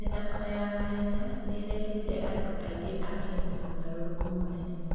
mĩthako ya mahenya nĩ ĩreheire andũ aingĩ a Kenya ũgarũrũku mũnene.